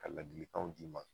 Ka ladilikanw d'i ma